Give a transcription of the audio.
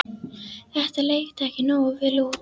Þetta leit ekki nógu vel út.